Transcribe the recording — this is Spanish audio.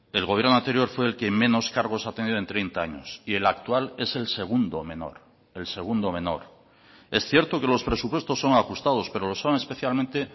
el gobierno anterior fue el que menos cargos ha tenido en treinta años y el actual es el segundo menor el segundo menor es cierto que los presupuestos son ajustados pero lo son especialmente